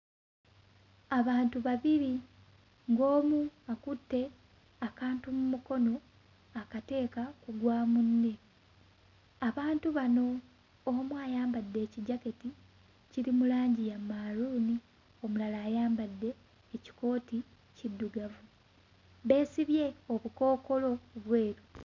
Abantu babiri ng'omu akutte akantu mmukono akateeka ku gwa munne, abantu bano omu ayambadde ekijaketi kiri mu langi ya maroon omulala ayambadde ekikooti kiddugavu beesibye obukookolo bweru.